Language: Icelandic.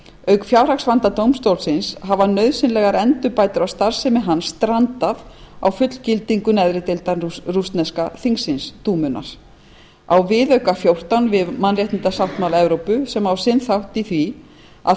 auk fjárhagsvanda dómstólsins hafa nauðsynlegar endurbætur á starfsemi hans strandað á fullgildingu neðri deildar rússneska þingsins dúmunnar á viðauka fjórtán við mannréttindasáttmála evrópu sem á sinn þátt í því að